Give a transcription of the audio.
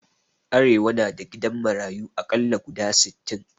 Arewa na da gidan marayu aƙalla guda sittin